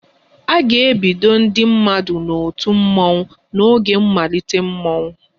A ga-ebido ndị mmadụ n'otu mmọnwụ n'oge mmalite mmọnwụ